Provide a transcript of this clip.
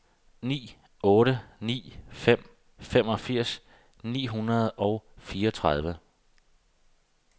ni otte ni fem femogfirs ni hundrede og fireogtredive